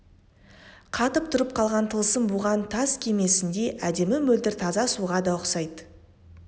қатып тұрып қалған тылсым буған тас кемесіндей әдемі мөлдір таза суға да ұқсайды